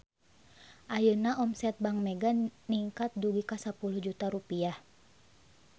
Ayeuna omset Bank Mega ningkat dugi ka 10 juta rupiah